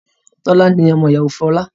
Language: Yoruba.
Tolani ni ọmọ ìyàwó Fola